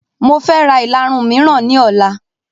Mofẹ ra ìlarun miran ni ọ̀la